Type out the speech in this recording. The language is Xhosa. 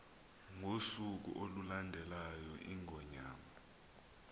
ngosuku olulandelayo iingonyama